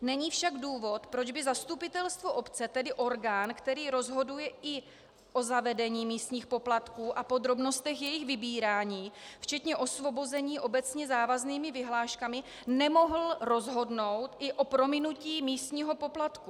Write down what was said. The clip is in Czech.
Není však důvod, proč by zastupitelstvo obce, tedy orgán, který rozhoduje i o zavedení místních poplatků a podrobnostech jejich vybírání včetně osvobození obecně závaznými vyhláškami, nemohl rozhodnout i o prominutí místního poplatku.